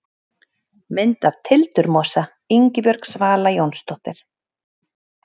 Mynd af tildurmosa: Ingibjörg Svala Jónsdóttir.